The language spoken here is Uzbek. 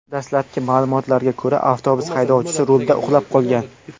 Dastlabki ma’lumotlarga ko‘ra, avtobus haydovchisi rulda uxlab qolgan.